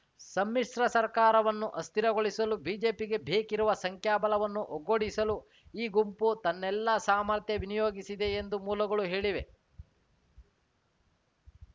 ಸಮ್ಮಿಶ್ರ ಸರ್ಕಾರವನ್ನು ಅಸ್ಥಿರಗೊಳಿಸಲು ಬಿಜೆಪಿಗೆ ಬೇಕಿರುವ ಸಂಖ್ಯಾಬಲವನ್ನು ಒಗ್ಗೂಡಿಸಲು ಈ ಗುಂಪು ತನ್ನೆಲ್ಲ ಸಾಮರ್ಥ್ಯ ವಿನಿಯೋಗಿಸಿದೆ ಎಂದು ಮೂಲಗಳು ಹೇಳಿವೆ